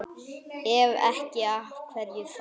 Ef ekki, af hverju þá?